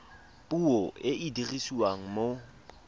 puo e e dirisiwang mo